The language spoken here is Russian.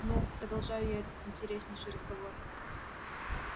ну продолжаю я этот интереснейший разговор